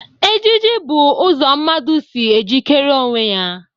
Ejiji bụ ụzọ mmadụ si e jikere onwe ya.